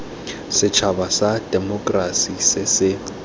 setšhaba sa temokerasi se se